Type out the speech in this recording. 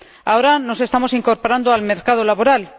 Ahora nos estamos incorporando al mercado laboral.